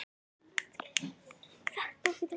Hvernig líst Birnu á framhaldið?